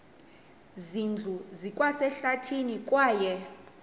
zindlu zikwasehlathini kwaye